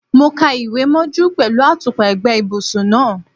Mo kàwé mọ́jú pẹ̀lú àtùpà ẹ̀gbẹ́ ibùsùn náà.